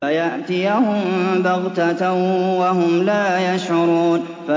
فَيَأْتِيَهُم بَغْتَةً وَهُمْ لَا يَشْعُرُونَ